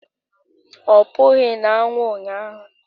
Ọ pụghị na anwụ ụnyaahụ